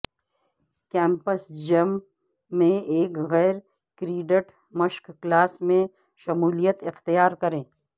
campus gym میں ایک غیر کریڈٹ مشق کلاس میں شمولیت اختیار کریں